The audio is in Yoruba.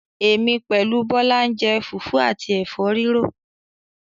Èmi pẹ̀lú Bọlá ń jẹ́ fufu àti Ẹ̀fọ́ rírò